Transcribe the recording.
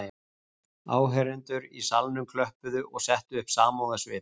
Áheyrendur í salnum klöppuðu og settu upp samúðarsvip